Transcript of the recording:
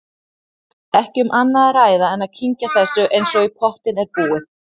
Ekki um annað að ræða en að kyngja þessu eins og í pottinn er búið.